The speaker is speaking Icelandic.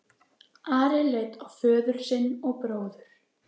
Ari leit á föður sinn og bróður.